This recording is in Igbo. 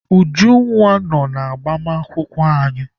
Ujunwa nọ n'agbamakwụkwọ anyị.